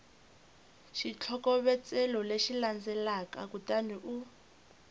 xitlhokovetselo lexi landzelaka kutani u